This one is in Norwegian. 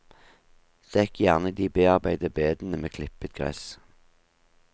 Dekk gjerne de bearbeidede bedene med klippet gress.